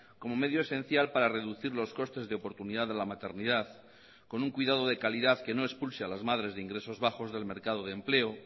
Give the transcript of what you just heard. como medio esencial para reducir los costes de oportunidad de la maternidad con un cuidado de calidad que no expulse a las madres de ingresos bajos del mercado de empleo